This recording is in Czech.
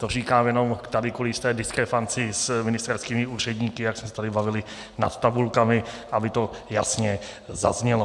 To říkám jenom tady kvůli jisté diskrepanci s ministerskými úředníky, jak jsme se tady bavili nad tabulkami, aby to jasně zaznělo.